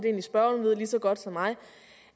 at spørgeren ved lige så godt som mig